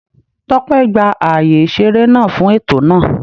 Tópé gba ààyè ìṣeré náà fún ètò náà